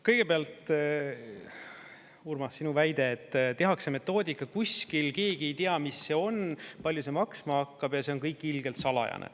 Kõigepealt, Urmas, sinu väide, et tehakse metoodika kuskil, keegi ei tea, mis see on, palju see maksma hakkab ja see on kõik ilgelt salajane.